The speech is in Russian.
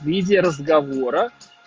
в виде разговора